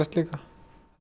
líka